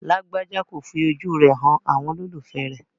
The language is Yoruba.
Lágbájà kò fi ojú rẹ̀ han àwọn olólùfẹ̀ẹ́ rẹ̀.